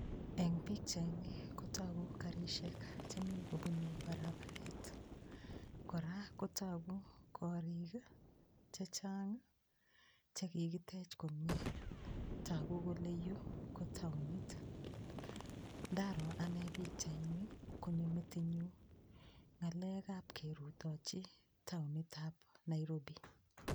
Eng' pikchaini kotoku karishek chemi kobunei barabaret kora kotoku korik chechang' chekikitech komyee toku kole yu ko taonit ndaro ane pikchaini konyo metinyu ng'alekab kerutochi taonitab Nairobi